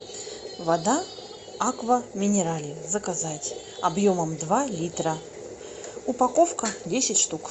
вода аква минерале заказать объемом два литра упаковка десять штук